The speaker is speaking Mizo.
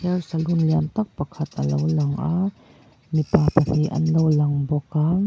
hair salon lian tak pakhat alo langa mipa pahnih an lo lang bawk a.